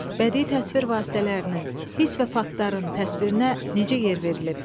Bədii təsvir vasitələrinin, hiss və faktların təsvirinə necə yer verilib,